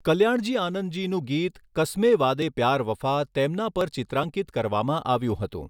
કલ્યાણજી આનંદજીનું ગીત 'કસ્મે વાદે પ્યાર વફા' તેમના પર ચિત્રાંકિત કરવામાં આવ્યું હતું.